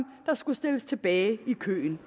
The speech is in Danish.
der skulle stilles tilbage i køen